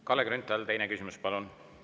Kalle Grünthal, teine küsimus, palun!